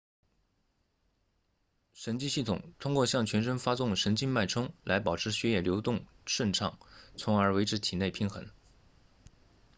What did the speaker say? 神经系统通过向全身发送神经脉冲来保持血液流动顺畅从而维持体内平衡